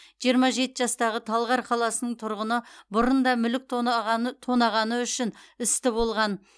жиырма жеті жастағы талғар қаласының тұрғыны бұрын да мүлік тонағаны тонағаны үшін істі болған